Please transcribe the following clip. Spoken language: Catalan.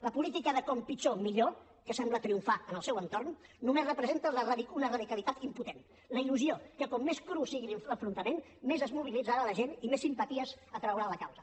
la política de com pitjor millor que sembla triomfar en el seu entorn només representa una radicalitat impotent la il·lusió que com més cru sigui l’enfrontament més es mobilitzarà la gent i més simpaties atraurà a la causa